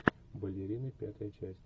балерины пятая часть